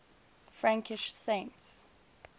frankish saints